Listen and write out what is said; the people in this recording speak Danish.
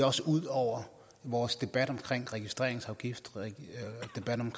også ud over vores debat om registreringsafgift